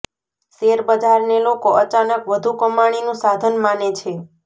share બજારને લોકો અચાનક વધુ કમાણીનું સાધન માને છે